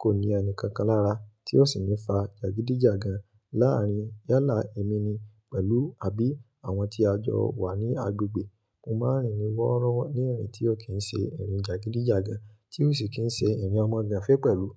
kò ní ẹni kankan lára tí ó sì ní fa jagidijagan láàárín yálà ẹ̀mí ni pẹ̀lú àbí àwọn tí a jọ wà ní agbègbè. Mo máa ń rìn ní wọ́rọ́wọ́ ní ìrìn tí ò kí ń ṣe ìrìn jagidijagan tí ò sì kín ń ṣe ìrìn ọmọganfe pẹ̀lú.